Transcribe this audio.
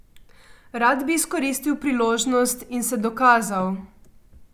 Rad bi izkoristil priložnost in se dokazal.